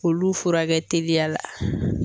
Olu furakɛ teliya la.